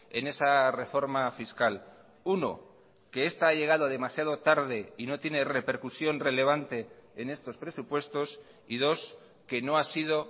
en esa reforma fiscal uno que esta ha llegado demasiado tarde y no tiene repercusión relevante en estos presupuestos y dos que no ha sido